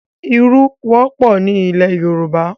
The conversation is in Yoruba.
Ìrù wọ́pọ̀ ni ilẹ̀ Yorùbá.